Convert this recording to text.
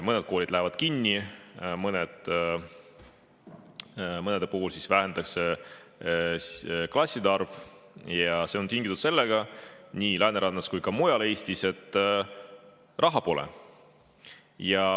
Mõned koolid lähevad kinni, mõnede puhul vähendatakse klasside arvu ja see on tingitud nii Läänerannas kui ka mujal Eestis sellest, et raha pole.